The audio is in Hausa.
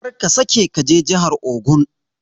Karka sake kaje jahar ogun.